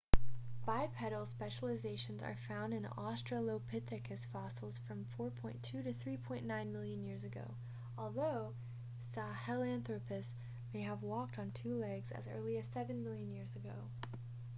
bipedal specializations are found in australopithecus fossils from 4.2-3.9 million years ago although sahelanthropus may have walked on two legs as early as seven million years ago